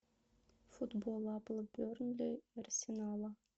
футбол апл бернли арсенала